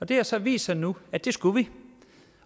det har så vist sig nu at det skulle vi